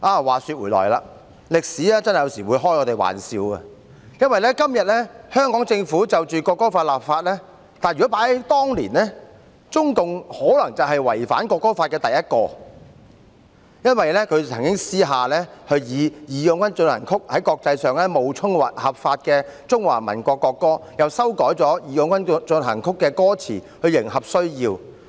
話說回來，歷史有時真的會和我們開玩笑，因為今天香港政府就國歌立法，但在當年，中共可能是第一個違反國歌法，他們曾經私下以"義勇軍進行曲"在國際上冒充合法的中華民國國歌，又修改"義勇軍進行曲"的歌詞來迎合需要。